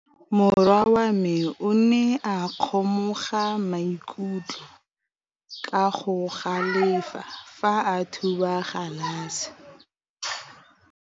Morwa wa me o ne a kgomoga maikutlo ka go galefa fa a thuba galase.